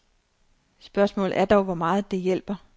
Spørgsmålet er dog, hvor meget det hjælper.